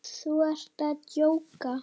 Þú ert að djóka?